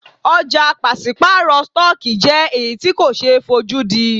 Ọ̀jà pàṣípàrọ̀ stọọkí jẹ́ èyí tí ko ṣe é fojúdí.